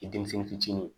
Denmisɛnnin fitinin